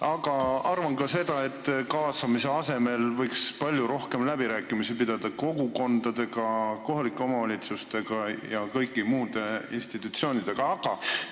Aga ma arvan ka seda, et kaasamise asemel võiks kogukondadega, kohalike omavalitsustega ja kõigi muude institutsioonidega palju rohkem läbirääkimisi pidada.